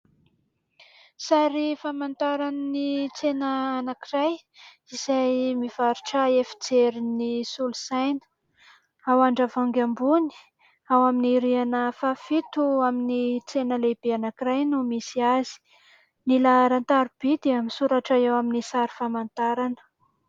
Sary famantaran'ny tsena anankiray izay mivarotra efijerin'ny solosaina ao Andravoahangy ambony ao amin'ny rihana fahafito amin'ny tsena lehibe anankiray no misy azy, ny laharan-tarobia dia misoratra eo amin'ny sary famantarana.